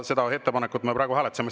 Seda ettepanekut me praegu hääletasime.